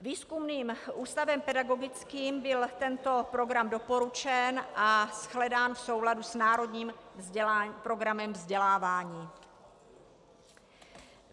Výzkumným ústavem pedagogickým byl tento program doporučen a shledán v souladu s Národním programem vzdělávání.